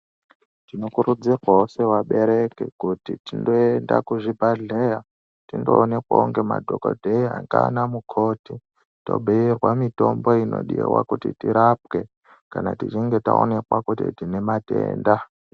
Tinokurudzirwawo seabereki kuti tindoendawo kuzvibhedhleya tindoonekwawo nemadhokodheya ngaanamukoti, tobhuyirwa mitombo inodiwa kuti tirapwe kana tichinge taonekwa kuti tine matenda.